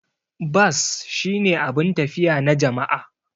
Bas shine abun tafiya na jama'a.